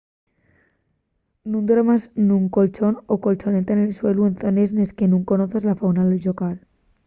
nun duermas nun colchón o colchoneta en suelu en zones nes que nun conozas la fauna llocal